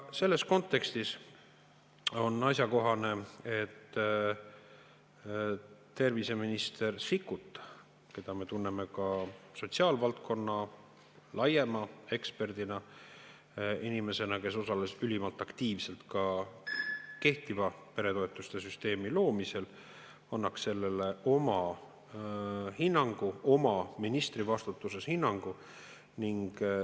Selles kontekstis on asjakohane, et terviseminister Sikkut, keda me tunneme ka sotsiaalvaldkonna laiema eksperdina ja inimesena, kes osales ülimalt aktiivselt ka kehtiva peretoetuste süsteemi loomisel, annaks sellele ministrina oma hinnangu.